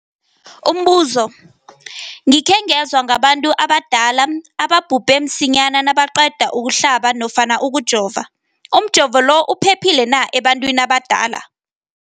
Umbuzo, gikhe ngezwa ngabantu abadala ababhubhe msinyana nabaqeda ukuhlaba nofana ukujova. Umjovo lo uphephile na ebantwini abadala?